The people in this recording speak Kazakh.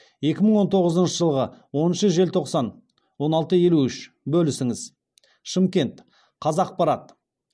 екі мың он тоғызыншы жылғы оныншы желтоқсан он алты елу үш бөлісіңіз шымкент қазақпарат